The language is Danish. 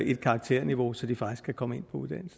et karakterniveau så de faktisk kan komme